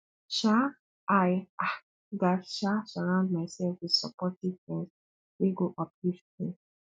um i um gats um surround myself with supportive friends wey go uplift me